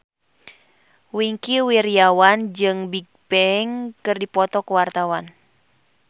Wingky Wiryawan jeung Bigbang keur dipoto ku wartawan